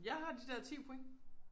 Jeg har de der 10 point